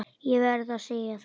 Ég verð að segja það.